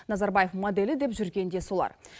назарбаев моделі деп жүрген де солар